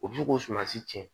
O bɛ se k'o surunsi cɛn